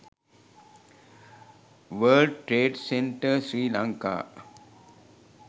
world trade center sri lanka